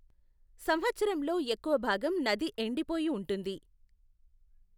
సంవత్సరంలో ఎక్కువ భాగం నది ఎండిపోయి ఉంటుంది.